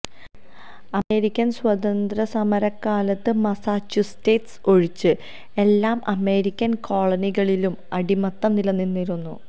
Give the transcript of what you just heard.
American സ്വാതന്ത്ര്യസമരകാലത്ത് Massachusetts ഒഴിച്ച് എല്ലാ അമേരിക്കന് കോളനികളിലും അടിമത്തം നിലനിന്നിരുന്നു